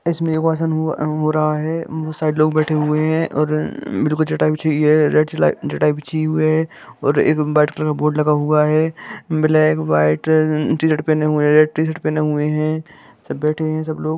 इसमे मुजे एसा अनुभव अनुभव हो रहा है बहुत सारे लोग बैठे हुवे है और अमम मेरे को चटाई बिछाई हुई है रेड चलाई चटाई बिछी हुई है और एक व्हाइट कलर का बोर्ड लगा हुवा है ब्लैक व्हाइट टी शर्ट पहने हुवे है रेड टी शर्ट पहने हुवे है। सब बैठे हे सब लोग--